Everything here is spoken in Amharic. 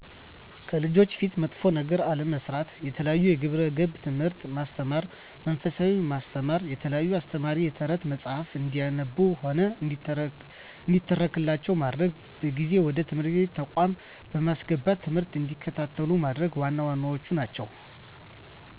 ከልጆች ፊት መጥፎ ነገር አለመስራት፣ የተለያዩ የግብረ ገብ ትምህርቶችን ማስተማር፣ መንፈሳዊነትን ማስተማ፣ የተለያዩ አስተማሪ የተረት መፀሀፍትን እንዲያነቡም ሆነ እንዲተረክላቸው ማድረግ፣ በጊዜ ወደ ትምህርት ተቋማት በማስገባት ትምህርት እንዲከታተሉ ማድረግ ዋና ዋናዎቹ ናቸው።